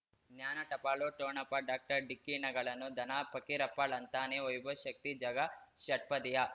ಜ್ಞಾನ ಟಪಾಲು ಠೋಣಪ ಡಾಕ್ಟರ್ ಢಿಕ್ಕಿ ಣಗಳನು ಧನ ಫಕೀರಪ್ಪ ಳಂತಾನೆ ವೈಭವ್ ಶಕ್ತಿ ಝಗಾ ಷಟ್ಪದಿಯ